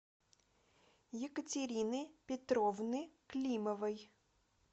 екатерины петровны климовой